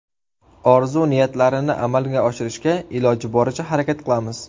Orzu-niyatlarini amalga oshirishga iloji boricha harakat qilamiz.